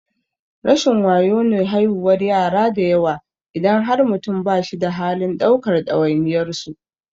Rashin wayo ne haihuwar yara dayawa idan har mutum ba shi da halin ɗaukar ɗawainiyar su.